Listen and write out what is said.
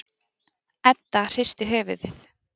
Edda hristi höfuðið.